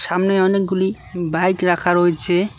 সামনে অনেকগুলি বাইক রাখা রয়েছে।